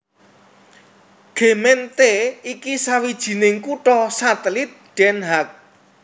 Gemeente iki sawijining kutha satelit Den Haag